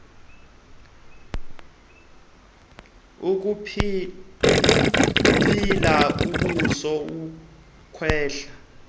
ukubila ebusuku ukwehla